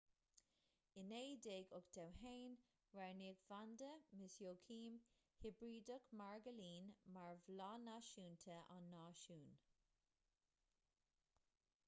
in 1981 roghnaíodh vanda miss joaquim hibrideach magairlín mar bhláth náisiúnta an náisiúin